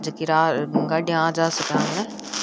जकी आ गाड़ियां आ जा सके आमने।